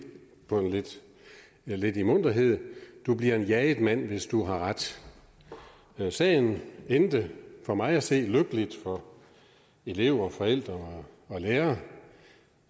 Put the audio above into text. lidt i munterhed du bliver en jaget mand hvis du har ret sagen endte for mig at se lykkeligt for elever forældre og lærere